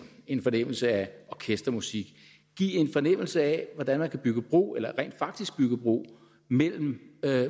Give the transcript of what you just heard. en fornemmelse af orkestermusik give en fornemmelse af hvordan man kan bygge bro eller rent faktisk bygger bro mellem